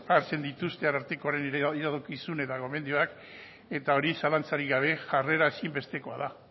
hartzen dituzte arartekoaren iradokizun eta gomendioak eta hori zalantzarik gabe jarrera ezinbestekoa da